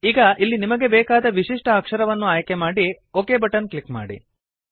ಈಗ ಇಲ್ಲಿ ನಿಮಗೆ ಬೇಕಾದ ವಿಶಿಷ್ಟ ಅಕ್ಷರವನ್ನು ಆಯ್ಕೆ ಮಾಡಿ ಒಕ್ ಬಟನ್ ಕ್ಲಿಕ್ ಮಾಡಿ